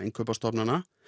stofnana